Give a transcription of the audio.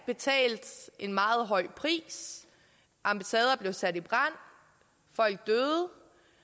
betalt en meget høj pris ambassader blev sat i brand folk døde